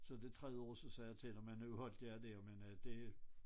Så det tredje år så sagde jeg til dem at nu holdt jeg dér men øh det